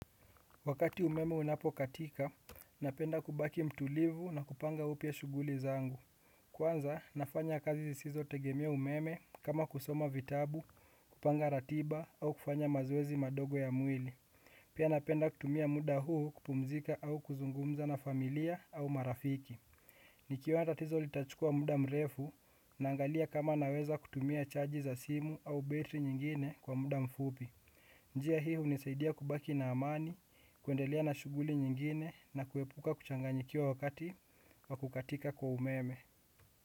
Wakati umeme unapokatika, napenda kubaki mtulivu na kupanga upya shughuli zangu. Kwanza, nafanya kazi zisizo tegemea umeme kama kusoma vitabu, kupanga ratiba au kufanya mazoezi madogo ya mwili. Pia napenda kutumia muda huu kupumzika au kuzungumza na familia au marafiki. Nikiona tatizo litachukua muda mrefu naangalia kama naweza kutumia chaji za simu au betri nyingine kwa muda mfupi. Njia hii unisaidia kubaki na amani, kuendelia na shughuli nyingine na kuepuka kuchanganyikiwa wakati wa kukatika kwa umeme.